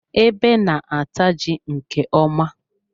Ebe na-ata ji nke ọma.